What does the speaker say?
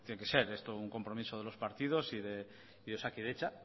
que ser un compromiso de los partidos y de osakidetza